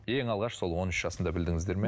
ең алғаш сол он үш жасында білдіңіздер ме